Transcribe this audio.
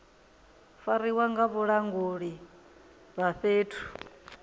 fariwa nga vhalanguli vha fhethu